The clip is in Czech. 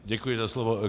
Děkuji za slovo.